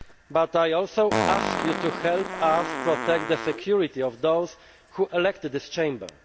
But I also ask you to help us protect the security of those who elected this chamber.